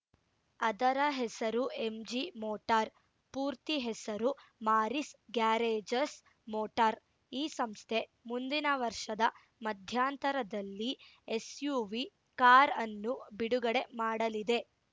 ಅದರ ಹೆಸರು MG motor ಪೂರ್ತಿ ಹೆಸರು ಮಾರಿಸ್‌ ಗ್ಯಾರೇಜಸ್‌ ಮೋಟಾರ್‌ ಈ ಸಂಸ್ಥೆ ಮುಂದಿನ ವರ್ಷದ ಮಧ್ಯಂತರದಲ್ಲಿ ಎಸ್‌ಯುವಿ ಕಾರ್‌ ಅನ್ನು ಬಿಡುಗಡೆ ಮಾಡಲಿದೆ